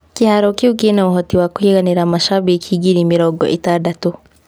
Kĩharo kĩu kĩna ũhoti wa kũiganĩra macambĩki ngiri mĩrongo-ĩtandatũ.